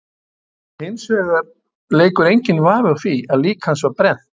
Hins vegar leikur enginn vafi á því að lík hans var brennt.